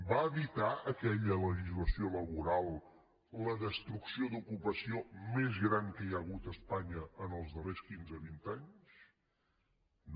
va evitar aquella legislació laboral la destrucció d’ocupació més gran que hi ha hagut a espanya els darrers quinze vint anys no